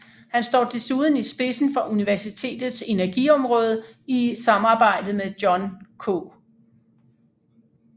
Han står desuden i spidsen for universitetets energiområde i samarbejde med John K